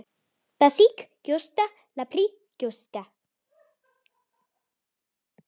basísk gjóska líparít gjóska